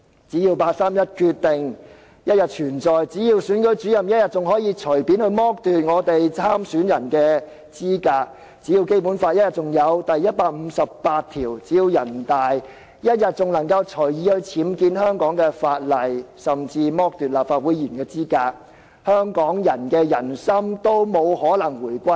只要八三一決定仍然存在，只要選舉主任仍然可以隨便剝奪參選人的資格，只要《基本法》仍然有第一百五十八條，只要人大仍然能夠隨意僭建香港的法例，甚至剝奪立法會議員的資格，香港人的人心也不可能回歸。